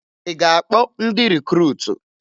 Ị ga-akpọ ndị rikruutu?